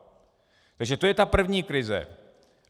Takže to je ta první krize.